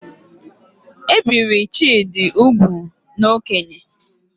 E biri Chidi ugwu n'okénye